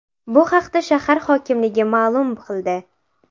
Bu haqda shahar hokimligi ma’lum ma’lum qildi .